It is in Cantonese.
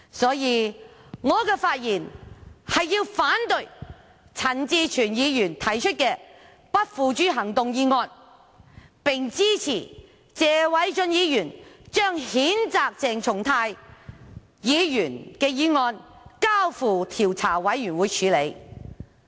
所以，我發言是要反對陳志全議員提出的不付諸行動議案，並支持謝偉俊議員將譴責鄭松泰議員的議案交付調查委員會處理。